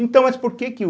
Então, mas por que que o...